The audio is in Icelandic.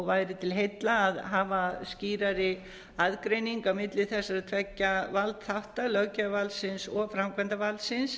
væri til heilla að hafa skýrari aðgreiningu að milli þessara tveggja valdþátta löggjafarvaldsins og framkvæmdarvaldsins